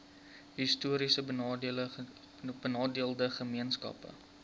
histories benadeelde gemeenskappe